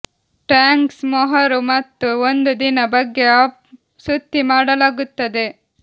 thanks ಮೊಹರು ಮತ್ತು ಒಂದು ದಿನ ಬಗ್ಗೆ ಅಪ್ ಸುತ್ತಿ ಮಾಡಲಾಗುತ್ತದೆ